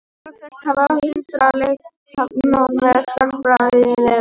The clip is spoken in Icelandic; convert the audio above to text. Varðveist hafa hundruð leirtaflna með stærðfræðilegu efni.